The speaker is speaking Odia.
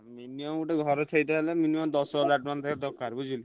Minimum ଗୋଟେ ଘର ଛେଇତେ ହେଲେ minimum ଦଶ ହଜାର ଟଙ୍କା ତା ଧିଅରେ ଦରକାର ବୁଝିଲୁ।